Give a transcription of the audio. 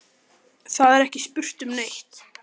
Það er ekki spurt um neitt.